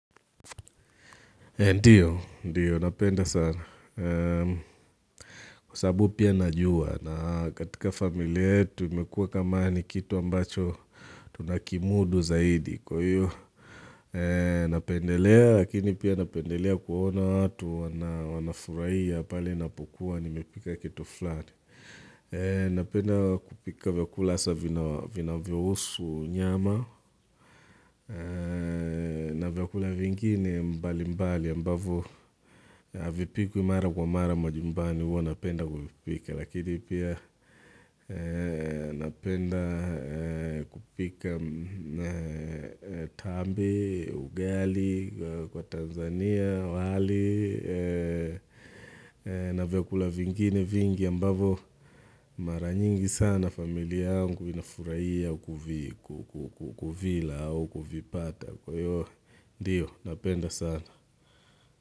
Ndio, ndio, napenda sana. Kwa sababu pia najua na katika familia yetu imekua kama ni kitu ambacho tunakimudu zaidi. Kwa hiyo, napendelea lakini pia napendelea kuona hatu wanafurahia pale ninapokua nimepika kitu flani. Napenda kupika vyakula hasa vinavyo husu nyama, na vyakula vingine mbali mbali ambavyo havipikwi mara kwa mara majumbani huwa napenda kuvipika. Lakini pia napenda kupika tambi, ugali, kwa Tanzania, wali na vyakula vingine vingi ambavyo mara nyingi sana familia yangu inafurahia kula au kuvipata Kwa hiyo, ndiyo, napenda sana.